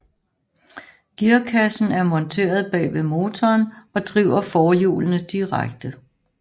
Gearkassen er monteret bagved motoren og driver forhjulene direkte